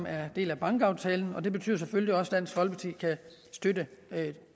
er en del af bankaftalen og det betyder selvfølgelig også at dansk folkeparti kan støtte